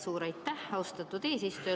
Suur aitäh, austatud eesistuja!